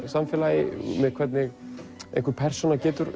samfélagi hvernig einhver persóna getur